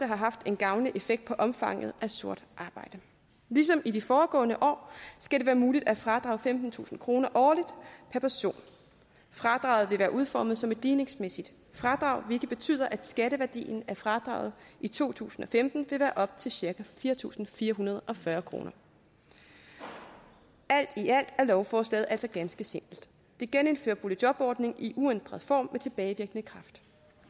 har haft en gavnlig effekt på omfanget af sort arbejde ligesom i de foregående år skal det være muligt at fradrage femtentusind kroner årligt per person fradraget vil være udformet som et ligningsmæssigt fradrag hvilket betyder at skatteværdien af fradraget i to tusind og femten vil være på op til cirka fire tusind fire hundrede og fyrre kroner alt i alt er lovforslaget altså ganske simpelt det genindfører boligjobordningen i uændret form med tilbagevirkende kraft